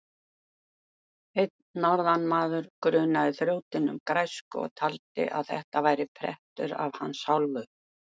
Einn norðanmaður grunaði þrjótinn um græsku og taldi að þetta væri prettur af hans hálfu.